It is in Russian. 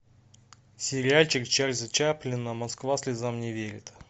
сериальчик чарльза чаплина москва слезам не верит